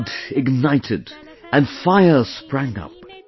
Your blood ignited and fire sprang up